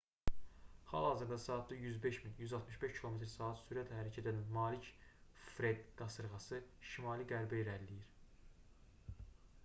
hal-hazırda saatda 105 mil 165 km/s sürətə hərəkət edən malik fred qasırğası şimali-qərbə irəliləyir